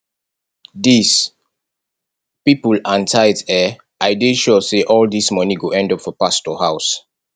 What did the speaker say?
dis people and tithe eh i dey sure say all dis money go end up for pastor house